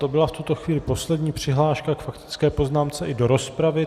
To byla v tuto chvíli poslední přihláška k faktické poznámce i do rozpravy.